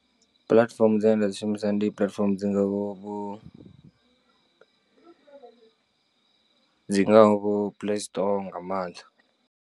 Puḽatifomo dzine nda dzi shumisa ndi platform dzi ngaho vho, dzi ngaho vho play store nga maanḓa.